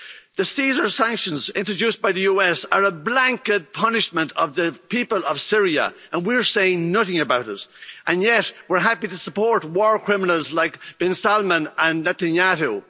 The Caesar sanctions introduced by the US are a blanket punishment of the people of Syria and we are saying nothing about it. And yet we're happy to support war criminals like bin Salman and Netanyahu.